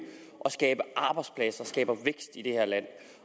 at skabe arbejdspladser at skabe vækst i det her land